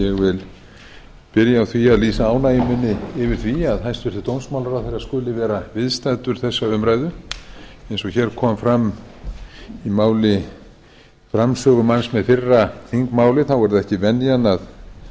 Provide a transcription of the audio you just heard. ég vil byrja á því að lýsa ánægju minni yfir því að hæstvirtur dómsmálaráðherra skuli vera viðstaddur þessa umræðu eins og hér kom fram í máli framsögumanns með fyrra þingmáli þá er það ekki venjan